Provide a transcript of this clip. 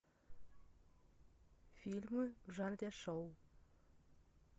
фильмы в жанре шоу